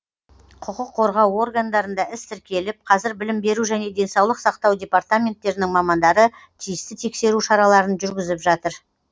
құқық қорғау органдарында іс тіркеліп қазір білім беру және денсаулық сақтау департаменттерінің мамандары тиісті тексеру шараларын жүргізіп жатыр